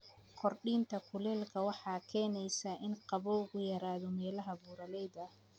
Kordhinta kuleylka waxay keeneysaa in qabowgu yaraado meelaha buuraleyda ah.